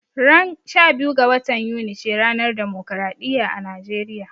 Ran 12 ga watan Yuni ce ranar demokaraɗiya a Nijeriya